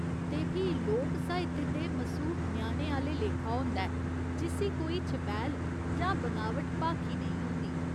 ते फ्ही लोक साहित्य ते मसूम ञ्याणे आह्‌ले लेखा होंदा ऐ जिस्सी कोई छपैल जां बनावट भाखी नेईं होंदी।